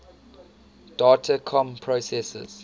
data comm processors